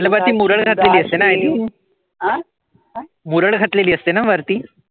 त्याला वरती मुरड घातलेली असते ना i think मुरड घातलेली असते ना वरती.